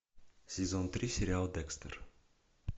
сезон три сериал декстер